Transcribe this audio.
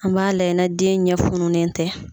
An b'a layɛ na den ɲɛ fununen tɛ.